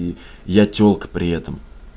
и я телка при этом